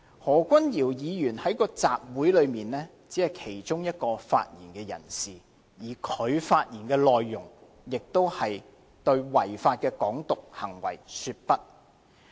在該次集會裏，何君堯議員只是其中一名發言人士，而他的發言內容亦是對違法的"港獨"行為說不。